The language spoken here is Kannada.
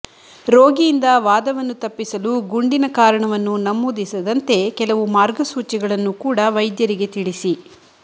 ರೋಗಿಯಿಂದ ವಾದವನ್ನು ತಪ್ಪಿಸಲು ಗುಂಡಿನ ಕಾರಣವನ್ನು ನಮೂದಿಸದಂತೆ ಕೆಲವು ಮಾರ್ಗಸೂಚಿಗಳನ್ನು ಕೂಡ ವೈದ್ಯರಿಗೆ ತಿಳಿಸಿ